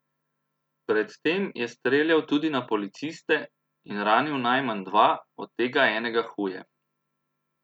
Pred tem je streljal tudi na policiste in ranil najmanj dva, od tega enega huje.